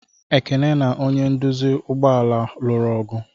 Ekene na onye nduzi ụgbọ ala lụrụ ọgụ.